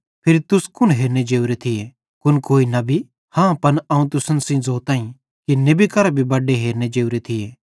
फिरी तुस कुन हेरने जोरे थिये कुन कोई नेबी हाँ पन अवं तुसन सेइं ज़ोताईं कि नेबी करां भी बड्डे हेरने जोरे थिये